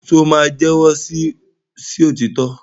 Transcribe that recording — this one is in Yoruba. ṣe o ma jẹwọ sí òtítọ?